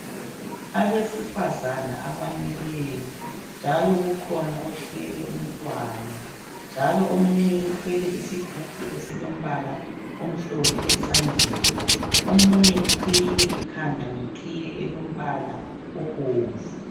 Abesifazana abamileyo njalo kukhona othwele umntwana njalo omunye uthwele isigubhu esilombala omhlophe esandleni. Omunye uqhiyile ikhanda ngeqhiye elombala obomvu.